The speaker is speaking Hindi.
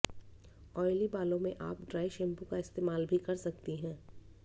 औएली बालों में आप ड्राई शैंपू का इस्तेमाल भी कर सकती हैं